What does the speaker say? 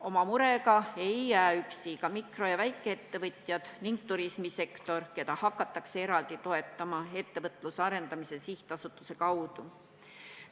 Oma murega ei jää üksi ka mikro- ja väikeettevõtjad ning turismisektor, keda hakatakse eraldi toetama Ettevõtluse Arendamise Sihtasutuse kaudu.